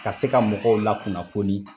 Ka se ka mɔgɔw la kunnafoni